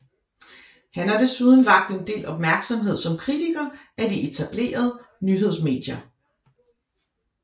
Han har desuden vakt en del opmærksomhed som kritiker af de etablerede nyhedsmedier